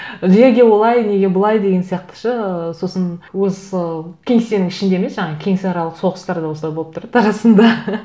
неге олай неге былай деген сияқты ше ыыы сосын осы кеңсенің ішінде емес жаңа кеңсеаралық соғыстар да осылай болып тұрады арасында